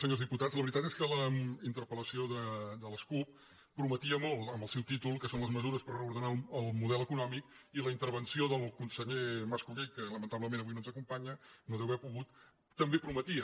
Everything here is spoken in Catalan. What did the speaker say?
senyors diputats la ve·ritat és que la interpel·lació de la cup prometia molt en el seu títol que són les mesures per a reordenar el model econòmic i la intervenció del conseller mas·colell que lamentablement avui no ens acompanya no deu haver pogut també prometia